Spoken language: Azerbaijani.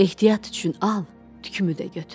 Ehtiyat üçün al, tükümü də götür.